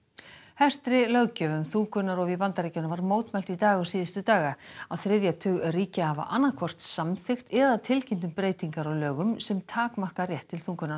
hertri löggjöf um þungunarrof í Bandaríkjunum var mótmælt í dag og síðustu daga á þriðja tug ríkja hafa annað hvort samþykkt eða tilkynnt um breytingar á lögum sem takmarka rétt til þungunarrofs